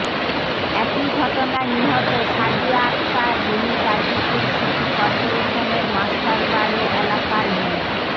একই ঘটনায় নিহত সাদিয়া আক্তার রিমি গাজীপুর সিটি করপোরেশনের মাস্টারবাড়ি এলাকার মো